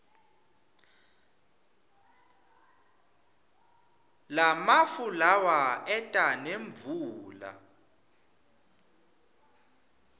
lamafu lawa eta nemvula